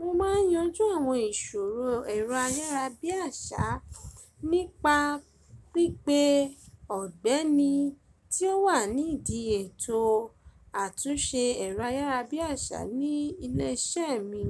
Mo máa ń yanjú àwọn ìṣòro ẹ̀rọ ayárabíàṣá nípa pípé ọ̀gbẹ́ni tí ó wà ní ìdí ètò àtúnṣe ẹ̀rọ ayárabíàṣá ní ilé iṣẹ́ mi.